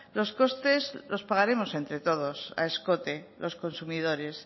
los costes los pagaremos entre todos a escote los consumidores